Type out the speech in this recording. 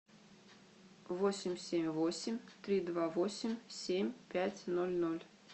восемь семь восемь три два восемь семь пять ноль ноль